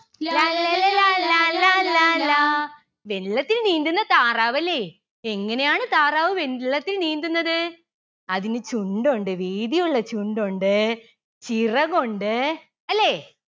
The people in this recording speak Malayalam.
ലാല്ലല ലാലാ ലാലാ ലാ. വെള്ളത്തിൽ നീന്തുന്ന താറാവല്ലേ. എങ്ങനെയാണ് താറാവ് വെള്ളത്തിൽ നീന്തുന്നത്. അതിന് ചുണ്ടുണ്ട് വീതിയുള്ള ചുണ്ടുണ്ട്. ചിറകുണ്ട്. അല്ലേ